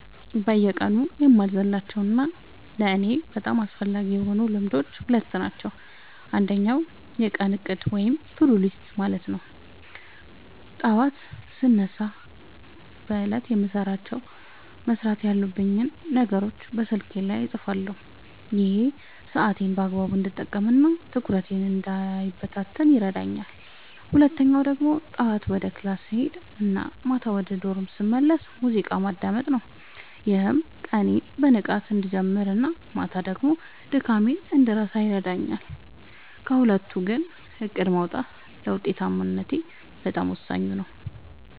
በየቀኑ የማልዘልላቸው እና ለእኔ በጣም አስፈላጊ የሆኑት ልማዶች ሁለት ናቸው። አንደኛው የቀን እቅድ (To-Do List) ማውጣት ነው፤ ጠዋት ስነሳ በዕለቱ መስራት ያለብኝን ነገሮች በስልኬ ላይ እጽፋለሁ። ይሄ ሰዓቴን በአግባቡ እንድጠቀምና ትኩረቴ እንዳይበታተን ይረዳኛል። ሁለተኛው ደግሞ ጠዋት ወደ ክላስ ስሄድ እና ማታ ወደ ዶርም ስመለስ ሙዚቃ ማዳመጥ ነው፤ ይህም ቀኔን በንቃት እንድጀምርና ማታ ደግሞ ድካሜን እንድረሳ ያደርገኛል። ከሁለቱ ግን እቅድ ማውጣቱ ለውጤታማነቴ በጣም ወሳኙ ነው።